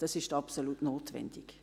Das ist absolut notwendig.